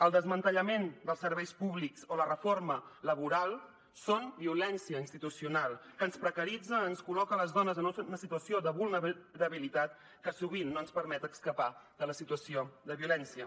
el desmantellament dels serveis públics o la reforma laboral són violència institucional que ens precaritza ens col·loca a les dones en una situació de vulnerabilitat que sovint no ens permet escapar de la situació de violència